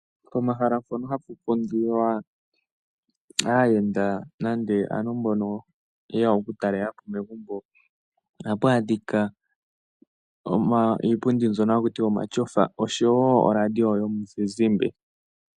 Pomahala mpono hapu kundilwa aayenda nande aantu mbono yeya okutalelapo megumbo, ohapu adhika iipundi mbyono ha kutiwa omatyofa osho woo oladiyo yo muzizimba.